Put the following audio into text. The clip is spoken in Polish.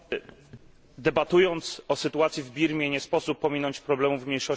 Debatując o sytuacji w Birmie, nie sposób pominąć problemów mniejszości Czin.